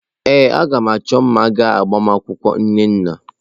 Ee, a ga m achọ mma ga agbamakwụkwọ Nnanna.